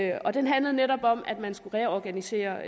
i og den handler netop om at man skulle reorganisere